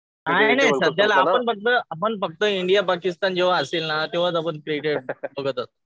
सध्या आहे रे. आपण फक्त इंडिया पाकिस्तान जेव्हा असेल ना तेव्हाच आपण क्रिकेट बघत असतो. त्यावेळेस